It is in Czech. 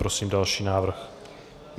Prosím další návrh.